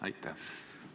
Aitäh!